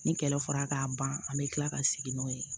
Ni kɛlɛ fɔra k'a ban an bɛ tila ka sigi n'o ye